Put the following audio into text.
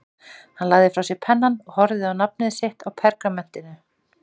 Hann lagði frá sér pennann og horfði á nafnið sitt á pergamentinu.